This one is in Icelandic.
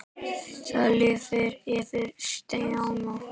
Það lifnaði yfir Stjána.